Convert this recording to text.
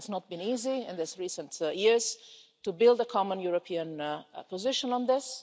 It has not been easy in these recent years to build a common European position on this.